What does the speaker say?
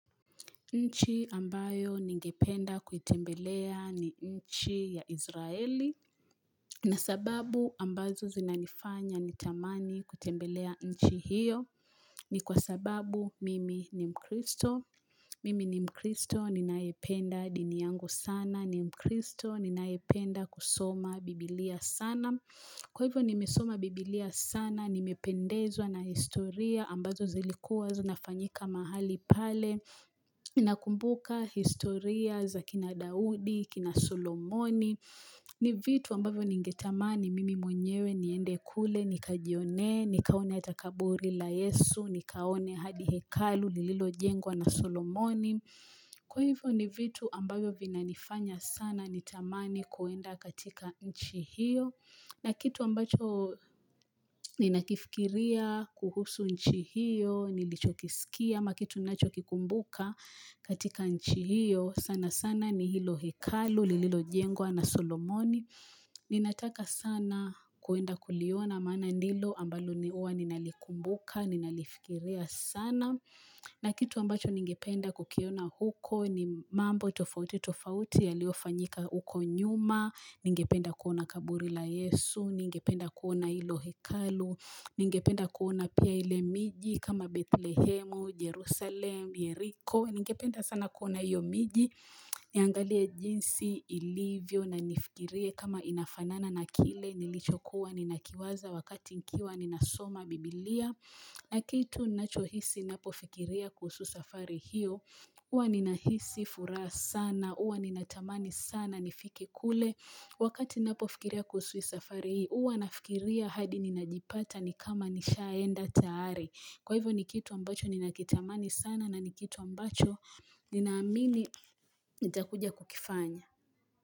Nchi ambayo ningependa kuitembelea ni nchi ya Izraeli na sababu ambazo zinanifanya nitamani kutembelea nchi hiyo ni kwa sababu mimi ni mkristo. Mimi ni mkristo ninaependa dini yangu sana. Ni mkristo ninaependa kusoma biblia sana. Kwa hivyo nimesoma biblia sana, nimependezwa na historia ambazo zilikuwa zinafanyika mahali pale. Na kumbuka historia za kina Daudi, kina Solomoni ni vitu ambavyo ningetamani mimi mwenyewe niende kule Nikajione, nikaone ata kaburi la Yesu Nikaone hadi hekalu, lilo jengwa na Solomoni Kwa hivyo ni vitu ambavyo vina nifanya sana nitamani kuenda katika nchi hiyo na kitu ambacho ninakifikiria kuhusu nchi hiyo nilicho kisikia ama kitu nilichokikumbuka katika nchi hiyo sana sana ni hilo hekalu lililo jengwa na solomoni ninataka sana kuenda kuliona maana nilo ambalo ni huwa ninalikumbuka ninalifikiria sana na kitu ambacho ningependa kukiona huko ni mambo tofauti tofauti yalio fanyika huko nyuma ningependa kuona kaburi la yesu ningependa kuona hilo hekalu Ningependa kuona pia ile miji kama Bethlehemu, Jerusalem, Jericho. Ningependa sana kuona iyo miji. Niangalie jinsi ilivyo na nifikirie kama inafanana na kile nilichokuwa. Ninakiwaza wakati nikiwa ninasoma bibilia. Na kitu nachohisi napofikiria kusu safari hiyo. Uwa ninahisi furaha sana. Uwa ninatamani sana nifike kule. Wakati napofikiria kuhusu safari hii. Huwa nafikiria hadi ninajipata ni kama nishaenda tayari Kwa hivyo ni kitu ambacho ninakitamani sana na ni kitu ambacho Ninaamini nita kuja kukifanya.